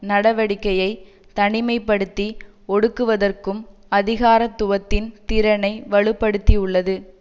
நடவடிக்கையை தனிமை படுத்தி ஒடுக்குவதற்கும் அதிகாரத்துவத்தின் திறனை வலுப்படுத்தியுள்ளது